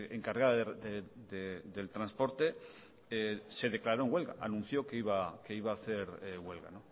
encargada del transporte se declaró en huelga anunció que iba a hacer huelga